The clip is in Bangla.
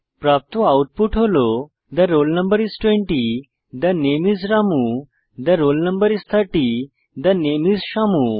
প্রাপ্ত আউটপুট হল the roll no is 20 the name is Ramu the roll no is 30 the name is Shyamu